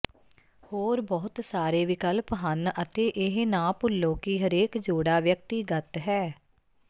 ਹੋਰ ਬਹੁਤ ਸਾਰੇ ਵਿਕਲਪ ਹਨ ਅਤੇ ਇਹ ਨਾ ਭੁੱਲੋ ਕਿ ਹਰੇਕ ਜੋੜਾ ਵਿਅਕਤੀਗਤ ਹੈ